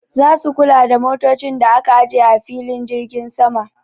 Za su kula da motocin da aka aje a filin jirgin sama.